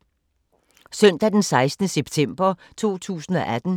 Søndag d. 16. september 2018